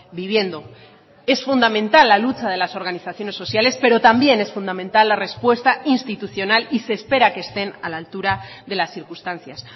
viviendo es fundamental la lucha de las organizaciones sociales pero también es fundamental la respuesta institucional y se espera que estén a la altura de las circunstancias